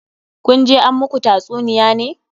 Kun je an muku tatsuniya ne?